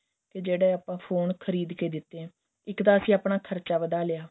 ਕਿ ਜਿਹੜੇ ਆਪਾਂ ਫੋਨ ਖ਼ਰੀਦ ਕੇ ਦਿੱਤੇ ਏ ਇੱਕ ਤਾਂ ਅਸੀਂ ਆਪਣਾ ਖਰਚਾ ਵਧਾ ਲਿਆ